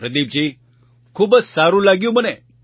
પ્રદીપજી ખૂબ જ સારું લાગ્યું મને